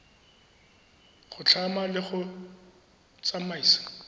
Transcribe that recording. go tlhama le go tsamaisa